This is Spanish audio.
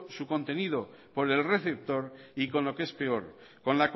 su contenido por el receptor y con lo que es peor